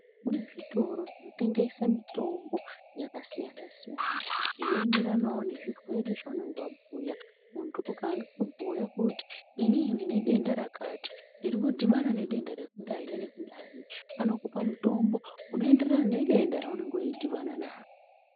Kune zvitoro zvinotengeswa mitombo yakasiyana siyana inoenderanawo nezvirwere zvavanenge muntu ukawa inini ndine denda rakati ndiri kudhubana nedenda rekudai nerekudai vanokupa mutombo unoenderana nedenda raunenge wedhibana naro.